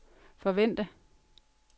forvente